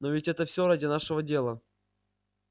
но ведь это всё ради нашего дела